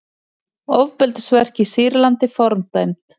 Ofbeldisverk í Sýrlandi fordæmd